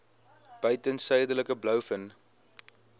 buiten suidelike blouvin